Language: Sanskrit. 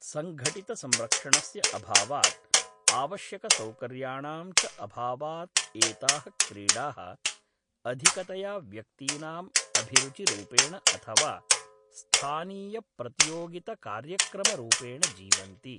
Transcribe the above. सङ्घठितसंरक्षणस्य अभावात् आवश्यकसौकर्याणां च अभावात् एताः क्रीडाः अधिकतया व्यक्तीनाम् अभिरुचिरूपेण अथवा स्थानीयप्रतियोगितकार्यक्रमरूपेण जीवन्ति।